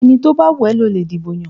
Ẹni tó bá wù ẹ́ ni ó lè dìbò yàn